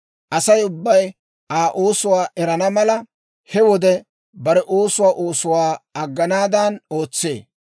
«Asay ubbay Aa oosuwaa erana mala, he wode bare oosuwaa oosuwaa agganaadan ootsee.